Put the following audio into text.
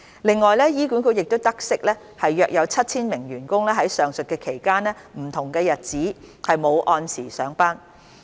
另外，醫管局得悉約有 7,000 名員工在上述期間的不同日子沒有按時上班。